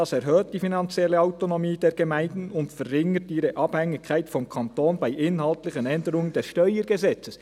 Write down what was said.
«Dies erhöht die finanzielle Autonomie der Gemeinden und verringert ihre Abhängigkeit vom Kanton bei inhaltlichen Änderungen des Steuergesetzes.